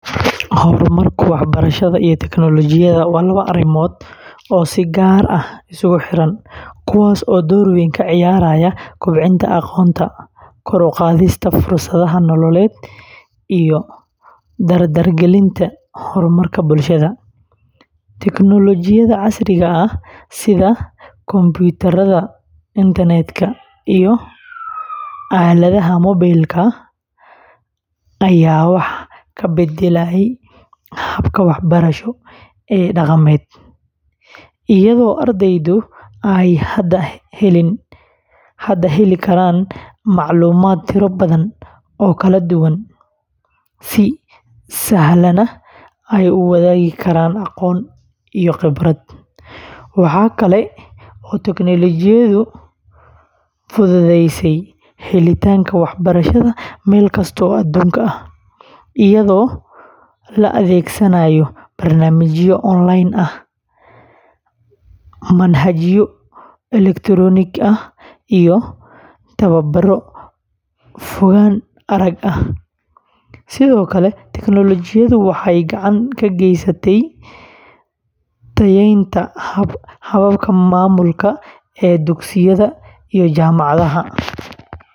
Horumarka waxbarashada iyo tiknoolajiyadda waa laba arrimood oo si gaar ah isugu xiran, kuwaas oo door weyn ka ciyaaraya kobcinta aqoonta, kor u qaadista fursadaha nololeed, iyo dardargelinta horumarka bulshada. Teknoolajiyadda casriga ah sida kumbuyuutarrada, internet-ka, iyo aaladaha moobilka ayaa wax ka beddelay habka waxbarasho ee dhaqameed, iyadoo ardaydu ay hadda heli karaan macluumaad tiro badan oo kala duwan, si sahlanna ay u wadaagi karaan aqoon iyo khibrad. Waxa kale oo tiknoolajiyaddu fududeysay helitaanka waxbarashada meel kasta oo adduunka ah, iyadoo la adeegsanayo barnaamijyo online ah, manhajyo elektaroonig ah, iyo tababaro fogaan arag ah. Sidoo kale, teknoolajiyaddu waxay gacan ka geysatay tayaynta hababka maamulka ee dugsiyada iyo jaamacadaha.